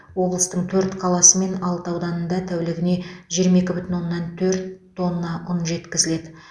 облыстың төрт қаласы мен алты ауданында тәулігіне жиырма екі бүтін оннан төрт тонна ұн жеткізіледі